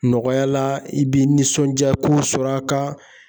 Nɔgɔya la i bɛ nisɔndiya k'u sɔrɔ a ka.